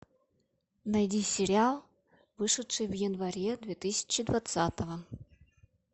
найди сериал вышедший в январе две тысячи двадцатого